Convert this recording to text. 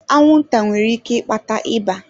Anwụnta nwere ike ịkpata ịba.